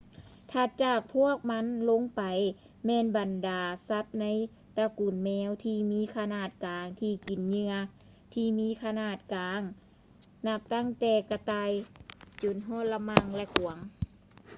ຖັດຈາກພວກມັນລົງໄປ ແມ່ນບັນດາສັດໃນຕະກຸນແມວທີ່ມີຂະໜາດກາງ ທີ່ກິນເຫຍື່ອທີ່ມີຂະໜາດກາງ ນັບຕັ້ງແຕ່ກະຕ່າຍຈົນຮອດ ລະມັ່ງ ແລະ ກວາງ